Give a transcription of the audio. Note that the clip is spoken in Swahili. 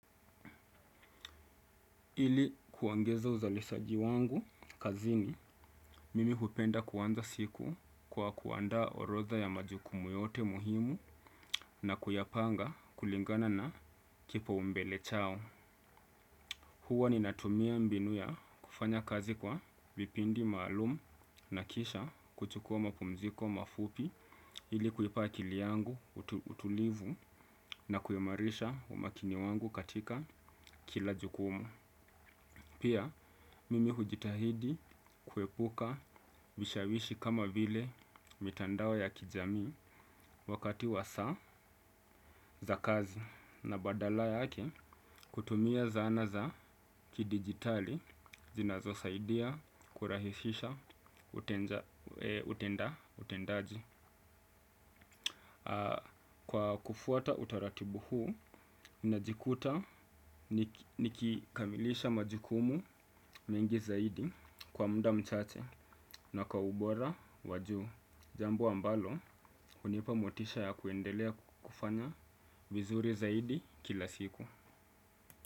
Ili kuongeza uzalishaji wangu kazini, mimi hupenda kuanza siku kwa kuandaa orodha ya majukumu yote muhimu na kuyapanga kulingana na kipaumbele changu. Huwa ninatumia mbinu ya kufanya kazi kwa vipindi maalum na kisha kuchukua mapumziko mafupi ili kuipa akili yangu utulivu na kuimarisha umakini wangu katika kila jukumu. Pia mimi hujitahidi kuepuka vishawishi kama vile mitandao ya kijamii wakati wa sa za kazi na badala yake kutumia zana za kidigitali zinazo saidia kurahisisha utendaji. Kwa kufuata utaratibu huu, ninajikuta nikikamilisha majukumu mengi zaidi kwa muda mchache na kwa ubora wa juu. Jambo ambalo, hunipa motisha ya kuendelea kufanya vizuri zaidi kila siku.